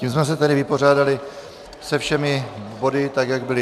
Tím jsme se tedy vypořádali se všemi body tak, jak byly.